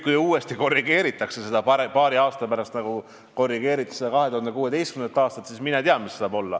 Kui seda paari aasta pärast korrigeeritakse, nagu korrigeeriti 2016. aasta andmeid, siis mine tea, mis saab olema.